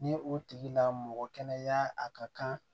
Ni o tigi la mɔgɔ kɛnɛya a ka kan